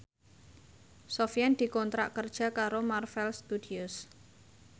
Sofyan dikontrak kerja karo Marvel Studios